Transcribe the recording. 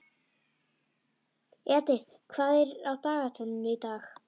Edith, hvað er á dagatalinu í dag?